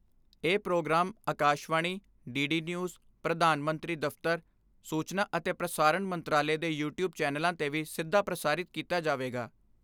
ਇਹ programme Akashvani, D D news, ਪ੍ਰਧਾਨ ਮੰਤਰੀ ਦਫ਼ਤਰ, ਸੂਚਨਾ ਅਤੇ ਪ੍ਰਸਾਰਣ ਮੰਤਰਾਲੇ ਦੇ ਯੂ ਟਿਊਬ ਚੈਨਲਾਂ 'ਤੇ ਵੀ ਸਿੱਧਾ ਪ੍ਰਸਾਰਿਤ ਕੀਤਾ ਜਾਵੇਗਾ।